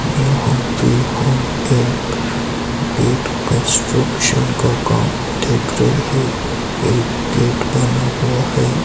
यहां पे हम एक गेट कंस्ट्रक्शन का काम देख रहे है एक गेट बना हुआ है।